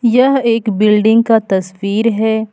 यह एक बिल्डिंग का तस्वीर है।